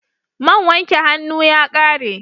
Man wanke hannu ya ƙare.